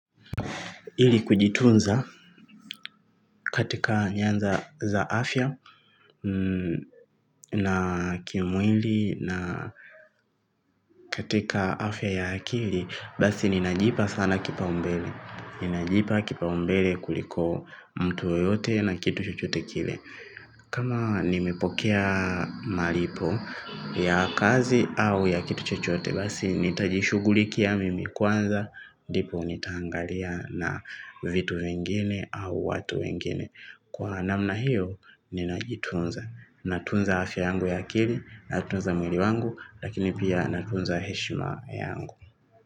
Ili kujitunza katika nyanza za afya na kimwili na katika afya ya akili basi ninajipa sana kipaumbele. Ninajipa kipaumbele kuliko mtu yoyote na kitu chochote kile. Kama nimepokea malipo ya kazi au ya kitu chochote basi nitajishughulikia mimi kwanza ndipo nitangalia na vitu vingine au watu wengine. Kwa namna hiyo ninajitunza. Natunza afya yangu ya akili. Natunza mwili wangu. Lakini pia natunza heshima yangu.